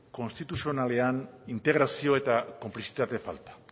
konstituzionalean integrazio eta konplizitate falta